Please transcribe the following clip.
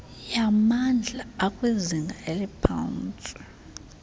yamandla akwizinga eliphantsi